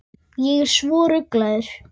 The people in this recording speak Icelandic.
Ég er svo rugluð.